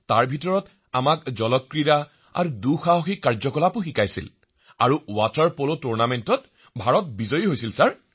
তাৰে ভিতৰত আমি জলক্ৰীড়া আৰু অভিযানমূলক ক্ৰীড়া শিকিলো আৰু ৱাটাৰ পল টুৰ্ণামেণ্টত আমি ভাৰতীয় দলে জয় লাভ কৰিলো